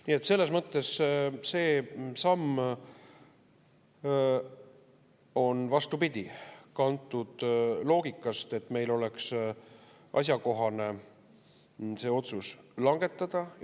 Nii et selles mõttes see samm on, vastupidi, kantud loogikast, et meil oleks asjakohane see otsus langetada.